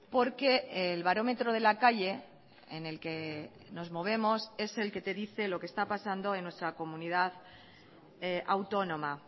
porque el barómetro de la calle en el que nos movemos es el que te dice lo que está pasando en nuestra comunidad autónoma